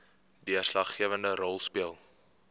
deurslaggewende rol speel